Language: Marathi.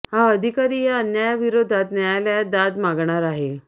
हा अधिकारी या अन्यायाविरोधात न्यायालयात दाद मागणार आहे